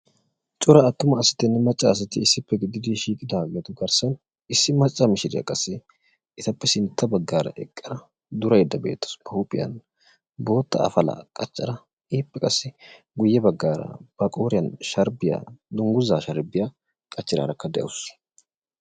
Cora attuma asatinne macca asati issippe gididi shiiqiddaageetu garssan issi macca miishiriya qassi etappe sintta baggaara eqqada duraydda beettawusu; ba huuphphiyan bootta afalaa qachchada ippe qassi guye baggara ba qooriyan dungguzzaa sharbbiya qachchidaarakka de'awusu.